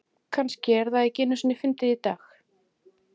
Kannski er það ekki einu sinni fyndið í dag.